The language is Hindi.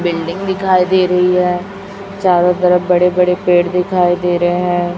बिल्डिंग दिखाई दे रही है चारों तरफ बड़े बड़े पेड़ दिखाई दे रहे हैं।